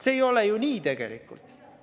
See ei ole ju tegelikult nii!